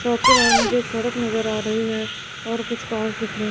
और मुझे एक सड़क नज़र आ रही है और कुछ कार्स दिख रही --